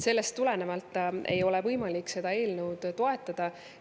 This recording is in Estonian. Sellest tulenevalt ei ole võimalik seda eelnõu toetada.